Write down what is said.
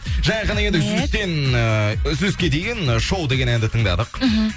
жаңа ғана енді үзілістен ыыы үзіліске дейін ы шоу деген әнді тыңдадық мхм